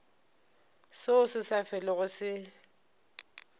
seo se sa felego se